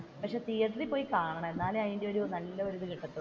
പക്ഷെ തീയറ്ററിൽ പോയി കാണണം എന്നാലേ അതിന്റെ നല്ലയൊരു ഇത് കിട്ടത്തുള്ളൂ.